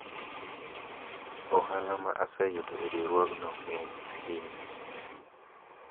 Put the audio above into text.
ohala ma aseyudo e riwruogno ng'eny ahinya